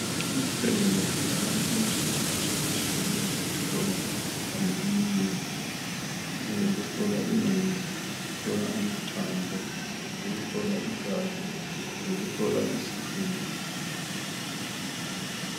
Ezibhedlela kutholakala imitshina etshiye tshiyeneyo eyokuhlola imikhuhlane eminengi eyokuhlola ingqondo, eyokuhlola amathambo , eyokuhlola igazi, leyokuhlola isifuba.